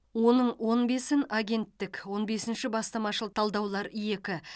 оның он бесін агенттік он бесінші бастамашыл талдаулар екі